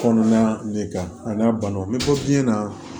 Kɔnɔna de kan a n'a banaw bɛ bɔ biɲɛ na